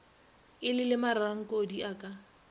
e le mararankodi e ka